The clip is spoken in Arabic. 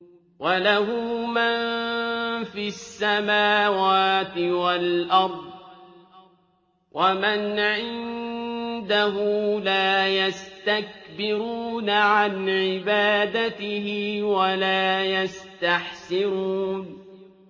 وَلَهُ مَن فِي السَّمَاوَاتِ وَالْأَرْضِ ۚ وَمَنْ عِندَهُ لَا يَسْتَكْبِرُونَ عَنْ عِبَادَتِهِ وَلَا يَسْتَحْسِرُونَ